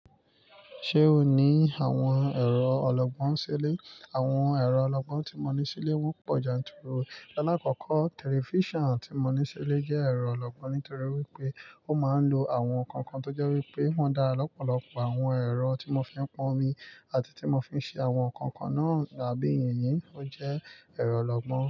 Ṣé o ní àwọn ẹ̀rọ ọlọ́gbọ́n sílé? Àwọn ẹ̀rọ ọlọ́gbọ́n tí mo ní sílé wọ́n pọ̀ janturu. Alákọ́kọ́, tẹlifíṣàn tí mo ní sílé jẹ́ ẹ̀rọ ọlọ́gbọ́n nítorí wípé ó máa ń lo àwọn nǹkan tó jẹ́ wípé wọ́n dá lọ́pọ̀lọpọ̀ àwọn ẹ̀rọ tí mo fi ń pọn omi àti tí mo fi ń ṣe àwọn nǹkan kan náà àbí yìnyín ó jẹ́ ẹ̀rọ ọlọ́gbọ́n.